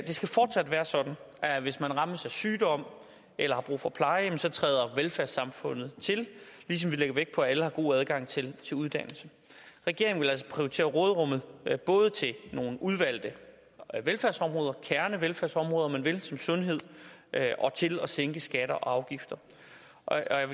skal fortsat være sådan at hvis man rammes af sygdom eller har brug for pleje træder velfærdssamfundet til ligesom vi lægger vægt på at alle har god adgang til uddannelse regeringen vil altså prioritere råderummet både til nogle udvalgte velfærdsområder kernevelfærdsområder om man vil som sundhed og til at sænke skatter og afgifter